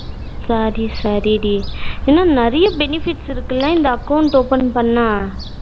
சரி சரி டி ஆனா நெறைய benefits இருக்குல்ல இந்த account open பண்ணா